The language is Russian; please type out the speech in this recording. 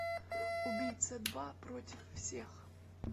убийца два против всех